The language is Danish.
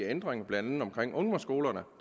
ændringer blandt andet omkring ungdomsskolerne